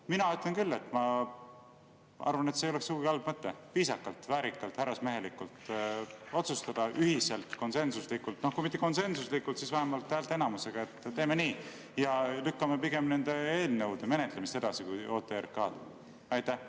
Mina ütlen küll, et ma arvan, et see ei oleks sugugi halb mõte: viisakalt, väärikalt, härrasmehelikult otsustada ühiselt, konsensuslikult – kui mitte konsensuslikult, siis vähemalt häälteenamusega –, et teeme nii ja lükkame pigem nende eelnõude menetlemise edasi, mitte OTRK oma.